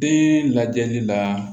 Den lajɛli la